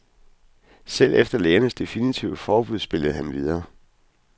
Selv efter lægernes definitive forbud spillede han videre.